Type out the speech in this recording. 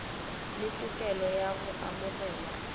le tokelo ya go amogela